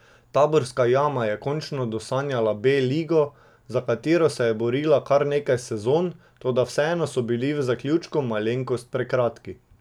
Taborska Jama je končno dosanjala B ligo, za katero se je borila kar nekaj sezon, toda vedno so bili v zaključku malenkost prekratki.